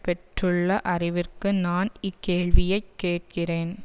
பெற்றுள்ள அறிவிற்கு நான் இக்கேள்வியைக் கேட்கிறேன்